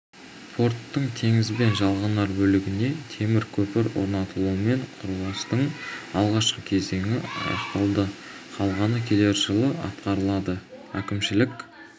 порттың теңізбен жалғанар бөлігіне темір көпір орнатылуымен құрылыстың алғашқы кезеңі аяқталды қалғаны келер жылы атқарылады әкімшілік